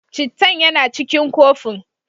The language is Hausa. Cittan yana cikin kofin.